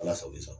Ala sago i sago